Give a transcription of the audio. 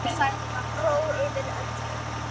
Ró yfir öllu.